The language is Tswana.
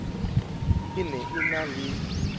e ne e na le